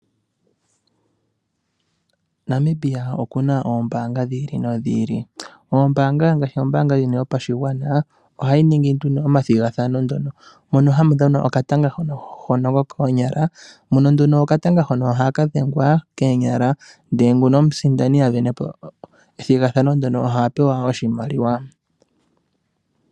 Namibia okuna oombaanga dhiili nodhiili. Oombaanga ngaashi ombaanga yopashigwana ohayi ningi nduno omathigathano mono hamu dhanwa okatanga hono kokoonyala, mono nduno okatanga hono ohaka dhengwa koonyala, ndele ngono omusindani a venepo ethigathano ndyono ohaya pewa oshimaliwa.